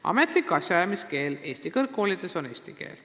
" Ametlik asjaajamiskeel Eesti kõrgkoolides on eesti keel.